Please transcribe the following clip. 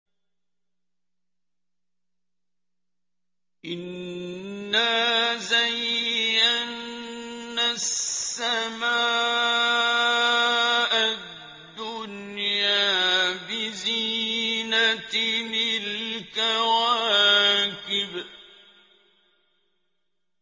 إِنَّا زَيَّنَّا السَّمَاءَ الدُّنْيَا بِزِينَةٍ الْكَوَاكِبِ